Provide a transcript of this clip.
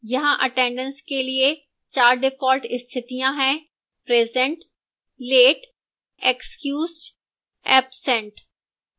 यहां attendance के लिए 4 default स्थितियां हैं: